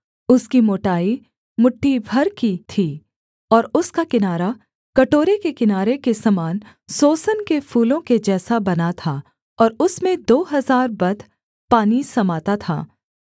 उसकी मोटाई मुट्ठी भर की थी और उसका किनारा कटोरे के किनारे के समान सोसन के फूलों के जैसा बना था और उसमें दो हजार बत पानी समाता था